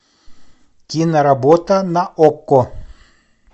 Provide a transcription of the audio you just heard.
киноработа на окко